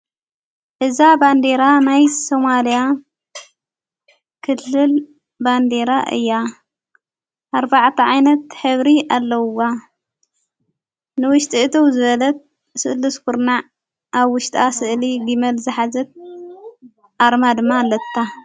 ሕዛ ባንዴራ ናይ ሶማልያ ክልል ባንዴራ እያ ኣርባዕተዓይነት ሕብሪ ኣለዉዋ ንውሽጢ እቲ ዘለት ሥእል ስኲርናዕ ኣብ ውሽጥኣ ሥእሊ ጊመል ዝኃዘት ኣርማ ድማ ኣለታ።